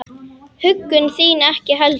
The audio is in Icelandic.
Huggun þín ekki heldur.